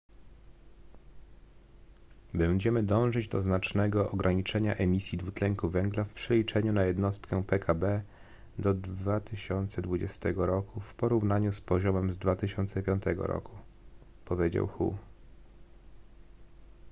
będziemy dążyć do znacznego ograniczenia emisji dwutlenku węgla w przeliczeniu na jednostkę pkb do 2020 roku w porównaniu z poziomem z 2005 roku powiedział hu